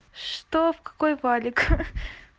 что в какой валик